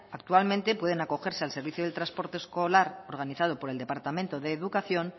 actualmente pueden acogerse al servicio del transporte escolar organizado por el departamento de educación